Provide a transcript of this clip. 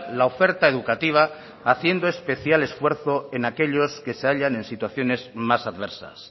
la oferta educativa haciendo especial esfuerzo en aquellos que se hallan en situaciones más adversas